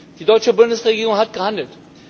Die deutsche Bundesregierung hat gehandelt.